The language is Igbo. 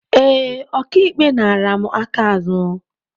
Ee, Ọka ikpe nara mụ aka azụ.